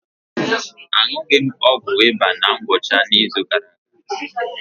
Aṅụghị m ọgwụ ịba na ngwụcha izu gara aga.